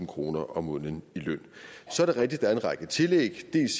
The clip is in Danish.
kroner om måneden i løn så er det rigtigt er en række tillæg